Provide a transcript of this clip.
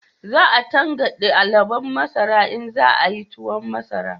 Za a tankade alubon masara in za a yi tuwon masara